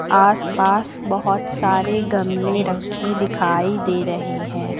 आस पास बहुत सारे गमले रखे दिखाई दे रहे हैं।